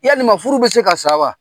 Yalima, furu be se ka sa wa?